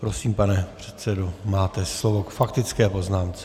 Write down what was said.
Prosím, pane předsedo, máte slovo k faktické poznámce.